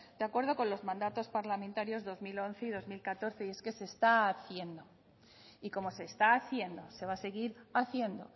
de acuerdo con los mandatos parlamentarios dos mil once y dos mil catorce y es que se está haciendo y como se está haciendo se va a seguir haciendo